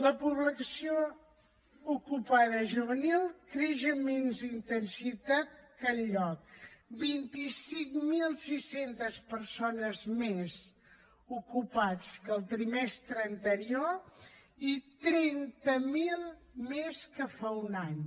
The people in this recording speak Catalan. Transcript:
la població ocupada juvenil creix amb més intensitat que enlloc vint cinc mil sis cents persones més ocupades que el trimestre anterior i trenta miler més que fa un any